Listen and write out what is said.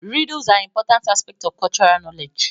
Riddles are importnat aspects of cultural knowledge